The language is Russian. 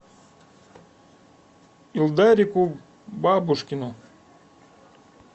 илдарику бабушкину